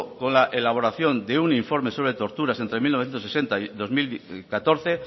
con la elaboración de un informe sobre torturas entre mil novecientos sesenta y dos mil catorce